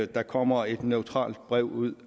der kommer et neutralt brev ud